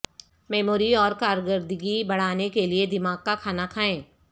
memory اور کارکردگی بڑھانے کے لئے دماغ کا کھانا کھائیں